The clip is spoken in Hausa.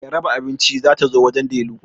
Mai raba abinci ta zo wajen Delu